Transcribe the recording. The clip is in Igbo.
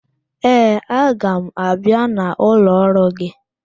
Ee, aga m abịa n'ụlọ ọrụ gị